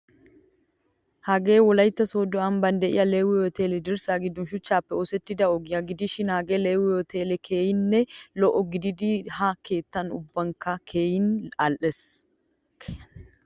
Hagee wolaytta sodo amban deiyaa leewi uteliyaa dirssa giddon shuchchappe oosettida ogiyaa gidishin hagee leewi utele keehin lo'o gididi ha keettan ubbabaykka keehin al'ees.